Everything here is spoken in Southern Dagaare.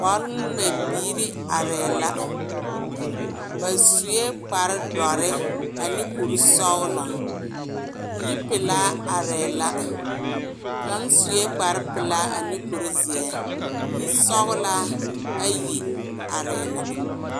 Bɔl-ŋmɛ biiri arɛɛ la, ba sue kpare dɔre ane kuri sɔgelɔ, yipelaa arɛɛ la, kaŋ sue kpare pelaa ane kuri zeɛ, yisɔgelaa ayi arɛɛ la.